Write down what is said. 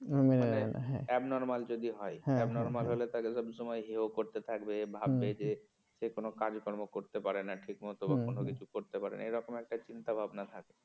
মানে abnormal যদি হয় abnormal হলে তাকে সব সময় হেও করতে থাকবে ভাববে যে এ কোন কাজকর্ম করতে পারে না ঠিকমতো বা কোন কিছু করতে পারে না এরকম একটা চিন্তা ভাবনা থাকে।